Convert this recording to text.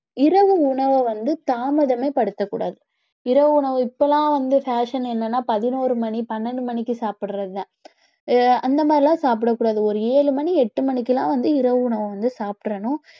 இரவு உணவை வந்து தாமதமே படுத்தக்கூடாது இரவு உணவு இப்பலாம் வந்து fashion என்னன்னா பதினோரு மணி பன்னெண்டு மணிக்கு சாப்பிடுறதுதான் ஆஹ் அந்த மாதிரிலாம் சாப்பிடக் கூடாது ஒரு ஏழு மணி எட்டு மணிக்கெல்லாம் வந்து இரவு உணவு வந்து சாப்பிட்டறணும்